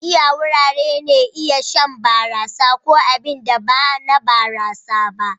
Gidan giya wuraren iya shan barasa ko abin sha ba na barasa ba.